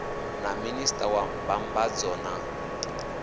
na minista wa mbambadzo na